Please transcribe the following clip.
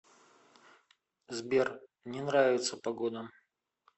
сбер не нравится погода